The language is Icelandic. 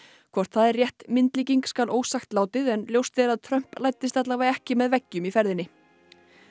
hvort það er rétt myndlíking skal ósagt látið en ljóst er að Trump læddist allavega ekki með veggjum í ferðinni